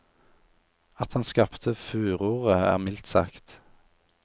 At han skapte furore er mildt sagt.